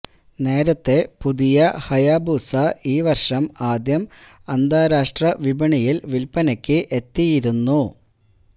നേരത്തെ പുതിയ ഹയാബൂസ ഈ വര്ഷം ആദ്യം അന്താരാഷ്ട്ര വിപണിയില് വില്പ്പനയ്ക്ക് എത്തിയിരുന്നു